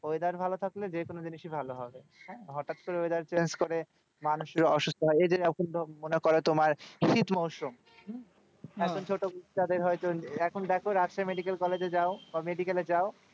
Weather ভালো থাকলে যেকোনো জিনিসই ভালো হবে হ্যাঁ হটাৎ করে weather change করে মানুষের অসুস্থ হয় এই যে এখন মনে করো তোমার শীত মরশুম হম এখন ছোট বাচ্চাদের হয়তো এখন দেখো রাজশাহী মেডিকেল কলেজে যাও বা medical এ যাও,